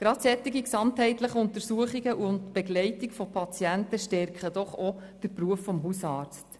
Gerade solche gesamtheitlichen Untersuchungen und die Begleitung von Patienten stärken doch auch den Beruf des Hausarztes.